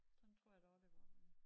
Sådan tror jeg da også det var ved